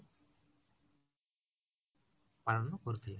ପାଳନ କରି ଥିଲେ